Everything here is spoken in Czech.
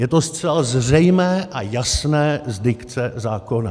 Je to zcela zřejmé a jasné z dikce zákona.